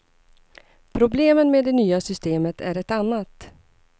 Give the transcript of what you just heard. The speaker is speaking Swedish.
Problemen med det nya systemet är ett annat.